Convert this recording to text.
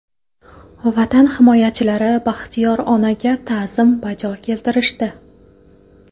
Vatan himoyachilari Baxtiyor onaga ta’zim bajo keltirishdi.